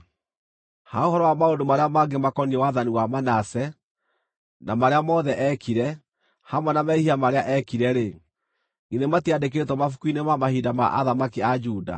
Ha ũhoro wa maũndũ marĩa mangĩ makoniĩ wathani wa Manase, na marĩa mothe eekire, hamwe na mehia marĩa eekire-rĩ, githĩ matiandĩkĩtwo mabuku-inĩ ma mahinda ma athamaki a Juda?